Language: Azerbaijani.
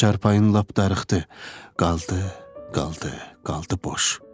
Çarpayım lap darıxdı, qaldı, qaldı, qaldı boş.